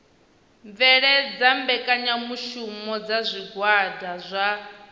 bveledza mbekanyamushumo dza zwigwada zwa